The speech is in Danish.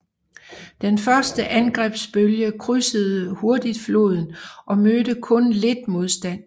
Den første angrebsbølge krydsede hurtigt floden og mødte kun lidt modstand